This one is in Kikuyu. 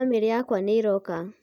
bamĩrĩ yakwa nĩ ĩroka